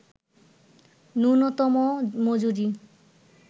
ন্যূনতম মজুরি